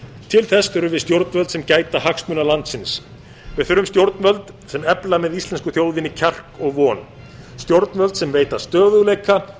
til þess þurfum við stjórnvöld sem gæta hagsmuna landsins við þurfum stjórnvöld sem efla með íslensku þjóðinni kjark og von stjórnvöld sem veita stöðugleika